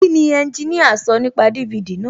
Kíni ẹnjiníà sọ nípa DVD náà?